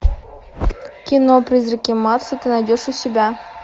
кино призраки марса ты найдешь у себя